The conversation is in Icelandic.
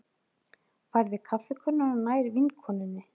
Færði kaffikönnuna nær vinkonunni.